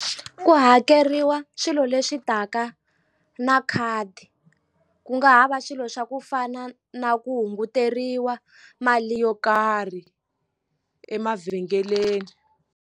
Ku hakeriwa swilo leswi taka na khadi ku nga hava swilo swa ku fana na ku hunguteriwa mali yo karhi emavhengeleni.